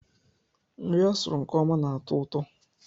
Nri a sụrụ nke ọma na-atọ ụtọ.